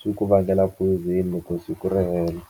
swi ku vangela phoyizeni loko siku ri hela.